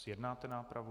Zjednáte nápravu?